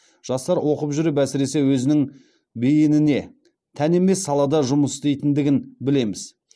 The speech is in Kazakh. жастар оқып жүріп әсіресе өзінің бейініне тән емес салада жұмыс істейтіндігін білеміз